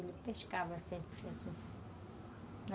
Ele pescava sempre, assim.